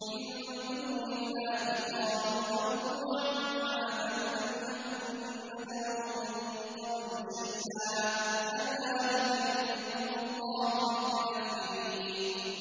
مِن دُونِ اللَّهِ ۖ قَالُوا ضَلُّوا عَنَّا بَل لَّمْ نَكُن نَّدْعُو مِن قَبْلُ شَيْئًا ۚ كَذَٰلِكَ يُضِلُّ اللَّهُ الْكَافِرِينَ